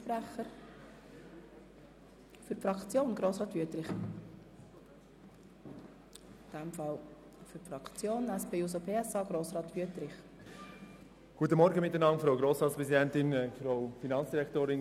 Jetzt haben die Fraktionen das Wort, zuerst Grossrat Wüthrich für die SP-JUSO-PSA-Fraktion.